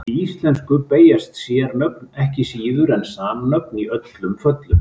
Í íslensku beygjast sérnöfn ekki síður en samnöfn í öllum föllum.